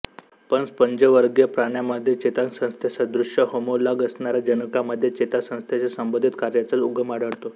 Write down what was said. पण स्पंजवर्गीय प्राण्यामध्ये चेतासंस्थेसदृश होमोलॉग असणाऱ्या जनुकामध्ये चेतासंस्थेशी संबंधित कार्याचा उगम आढळतो